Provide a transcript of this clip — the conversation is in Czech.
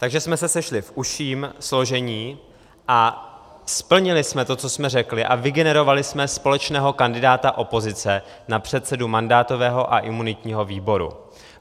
Takže jsme se sešli v užším složení a splnili jsme to, co jsme řekli, a vygenerovali jsme společného kandidáta opozice na předsedu mandátového a imunitního výboru.